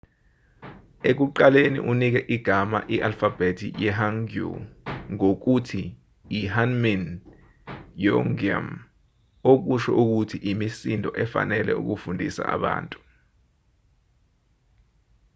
ekuqaleni unike igama i-alfabhethi yehangeul ngokuthi ihunmin jeongeum okusho ukuthi imisindo efanele yokufundisa abantu